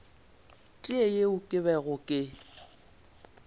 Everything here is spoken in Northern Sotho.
tee yeo ke bego ke